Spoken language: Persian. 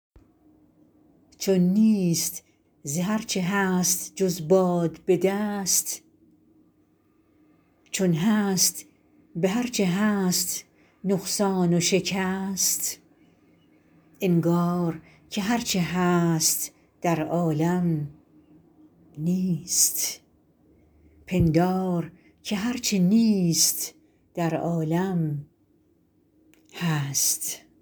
چون نیست ز هر چه هست جز باد به دست چون هست به هر چه هست نقصان و شکست انگار که هر چه هست در عالم نیست پندار که هر چه نیست در عالم هست